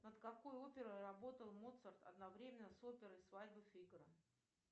над какой оперой работал моцарт одновременно с оперой свадьба фигаро